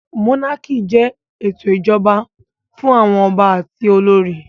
Mónákì jẹ́ ètò ìṣèjọba fún àwọn ọba àti olórí